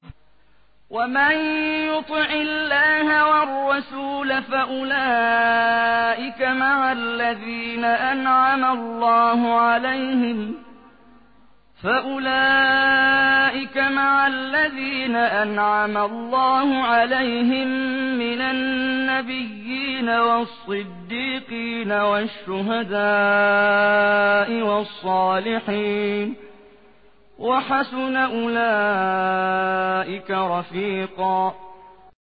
وَمَن يُطِعِ اللَّهَ وَالرَّسُولَ فَأُولَٰئِكَ مَعَ الَّذِينَ أَنْعَمَ اللَّهُ عَلَيْهِم مِّنَ النَّبِيِّينَ وَالصِّدِّيقِينَ وَالشُّهَدَاءِ وَالصَّالِحِينَ ۚ وَحَسُنَ أُولَٰئِكَ رَفِيقًا